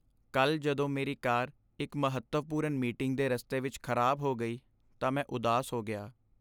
ਕੱਲ੍ਹ ਜਦੋਂ ਮੇਰੀ ਕਾਰ ਇੱਕ ਮਹੱਤਵਪੂਰਨ ਮੀਟਿੰਗ ਦੇ ਰਸਤੇ ਵਿੱਚ ਖਰਾਬ ਹੋ ਗਈ ਤਾਂ ਮੈਂ ਉਦਾਸ ਹੋ ਗਿਆ।